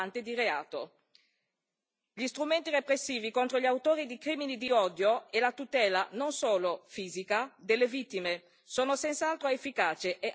Gli strumenti repressivi contro gli autori di crimini di odio e la tutela non solo fisica delle vittime sono senz'altro efficaci e, anzi, devono essere rafforzati.